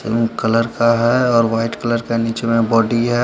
Pink colour का है और वाइट कलर का नीचे में बॉडी है।